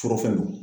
Forofɛnw